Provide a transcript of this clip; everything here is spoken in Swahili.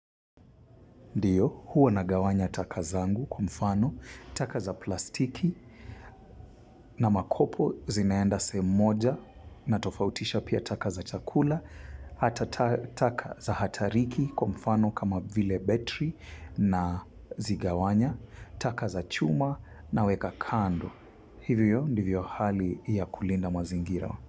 Ndiyo, huwa nagawanya taka zangu. Kwa mfano, taka za plastiki na makopo zinaenda sehemu moja natofautisha pia taka za chakula, hata taka za hatariki kwa mfano kama vile betri nazigawanya, taka za chuma naweka kando. Hivyo ndivyo hali ya kulinda mazingira.